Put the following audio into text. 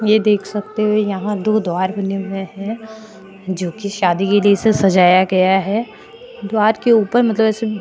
ये देख सकते हो यहां दो द्वार बने हुए है जो की शादी के लिए से सजाया गया है द्वार के ऊपर मतलब ऐसे --